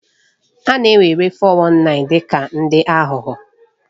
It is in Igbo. A na-ewere 419 dị ka ndị aghụghọ.